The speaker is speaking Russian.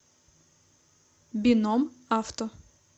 бином авто